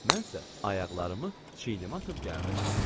Mən isə ayaqlarımı çiynimə atıb gəldim.